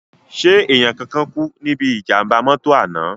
Ṣé èèyàn kankan kú níbí ìjàm̀bá mọ́tọ̀ àná?